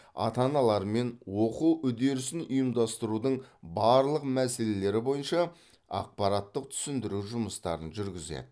ата аналарымен оқу үдерісін ұйымдастырудың барлық мәселелері бойынша ақпараттық түсіндіру жұмыстарын жүргізеді